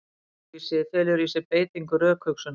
Rökvísi felur í sér beitingu rökhugsunar.